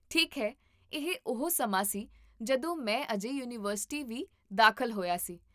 ਠੀਕ ਹੈ, ਇਹ ਉਹ ਸਮਾਂ ਸੀ ਜਦੋਂ ਮੈਂ ਅਜੇ ਯੂਨੀਵਰਸਿਟੀ ਵੀ ਦਾਖਲ ਹੋਇਆ ਸੀ